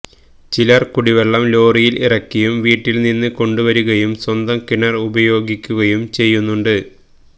ചിലര് കുടിവെള്ളം ലോറിയില് ഇറക്കിയും വീട്ടില് നിന്നും കൊണ്ടുവരികയും സ്വന്തം കിണര് ഉപയോഗിക്കുകയും ചെയ്യുന്നുണ്ട്